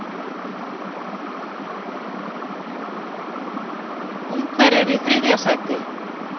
Ungverjar í þriðja sæti?